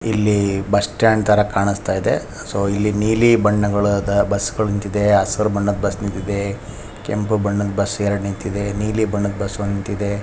ಇಲ್ಲಿ bus stand ತರ ಕಾಣಿಸುತ್ತಾ ಇದೆ ಸೋ ಇಲ್ಲಿ ನೀಲಿ ಬಣ್ಣಗಳಾದ ಬಸ್ಗಳು ನಿಂತಿದೆ ಹಸಿರು ಬಣ್ಣದ ಬಸ್ ನಿಂತಿದೆ ಕೆಂಪು ಬಣ್ಣದ ಬಸ್ ಎರೆಡು ನಿಂತಿದ್ದೆ ನೀಲಿ ಬಣ್ಣದ ಬಸ್ ಒಂದು ನಿಂತಿದ್ದೆ.